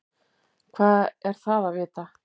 Hvað er það að vita?